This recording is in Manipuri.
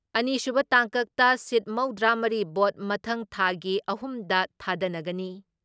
ꯑꯅꯤꯁꯨꯕ ꯇꯥꯡꯀꯛꯇ ꯁꯤꯠ ꯃꯧꯗ꯭ꯔꯥ ꯃꯔꯤ ꯚꯣꯠ ꯃꯊꯪ ꯊꯥꯒꯤ ꯑꯍꯨꯝꯗ ꯊꯥꯗꯅꯒꯅꯤ ꯫